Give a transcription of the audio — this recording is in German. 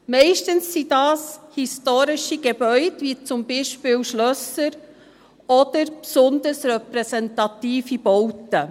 Meist sind das historische Gebäude, wie zum Beispiel Schlösser oder besonders repräsentative Bauten.